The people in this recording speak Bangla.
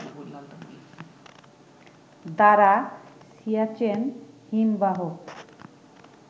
দ্বারা সিয়াচেন হিমবাহ